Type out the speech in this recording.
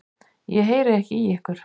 Ég heyri ekki í ykkur.